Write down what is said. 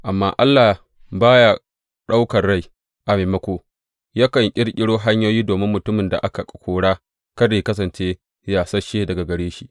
Amma Allah ba ya ɗaukan rai; a maimako, yakan ƙirƙiro hanyoyi domin mutumin da aka kora kada yă kasance yasasshe daga gare shi.